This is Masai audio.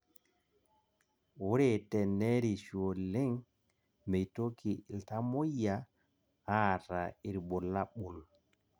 Ore tenerishu oleng meitoki iltamoyia aata irbulabol